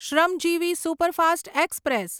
Shramjeevi superfast express